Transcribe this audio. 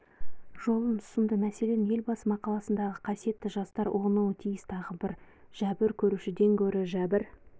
жолын ұсынды мәселен елбасы мақаласындағы қасиетті жастар ұғынуы тиіс тағы бірі жәбір көрушіден гөрі жәбір